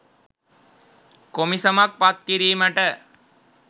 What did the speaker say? කොමිසමක් පත් කිරීමට